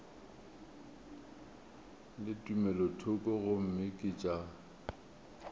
le tumelothoko gomme ke tša